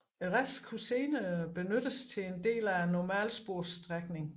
Resten kunne senere benyttes til en del af normalsporsstrækningen